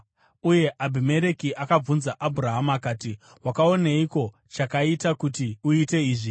Uye Abhimereki akabvunza Abhurahama akati, “Wakaoneiko chakaita kuti uite izvi?”